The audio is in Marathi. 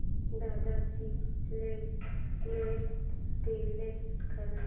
दादा ची प्ले लिस्ट डिलीट कर